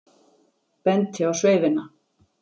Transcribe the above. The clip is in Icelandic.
Benti á sveifina.